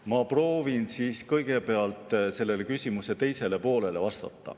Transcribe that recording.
Ma proovin vastata kõigepealt küsimuse teisele poolele.